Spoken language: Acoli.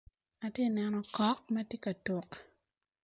atye ka neno okok matye ka tuk